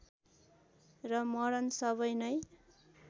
र मरण सबै नै